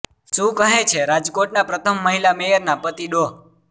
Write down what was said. શું કહે છે રાજકોટના પ્રથમ મહિલા મેયરના પતિ ડો